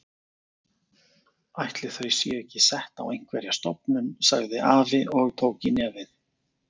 Ætli þau séu ekki sett á einhverja stofnun sagði afi og tók í nefið.